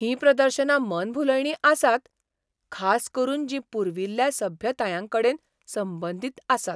हीं प्रदर्शनां मनभुलयणीं आसात, खास करून जीं पुर्विल्ल्या सभ्यतायांकडेन संबंदीत आसात.